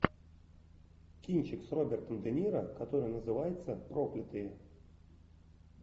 кинчик с робертом де ниро который называется проклятые